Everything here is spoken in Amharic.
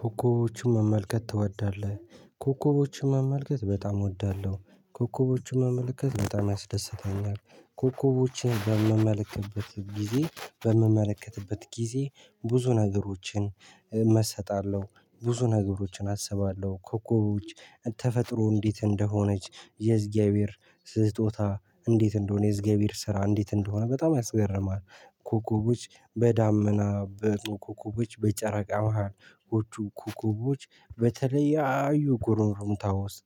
ኮከቦቹን መመልከት ትወዳለህ? ኮከቦቹን መመልከት በጣም እወዳለሁ ኮከቦቹ መመልከት በጣም ያስደስተኛል። ኮከቦችን በምመለከትበት ጊዜ በምመለከትበት ጊዜ ብዙ ነገሮችን እመሰጣለሁ ብዙ ነገሮችን አስባለሁ። ኮከቦች ተፈጥሮ እንዴት እንደሆነች የእግዚአብሄር ስጦታ እንዴት እንደሆነ የእግዚአብሄር ስራ እንዴት እንደሆነ በጣም ያስገርማል። ኮኮቦች በዳመና በጦ ኮኮቦች በጨረቃ መሃል ኮኩቦች በተለያዩ ጉርምርምታ ውስጥ።